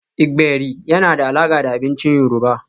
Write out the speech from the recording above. Gbegiri yana da alaƙa da abincin yoruba